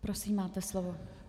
Prosím, máte slovo.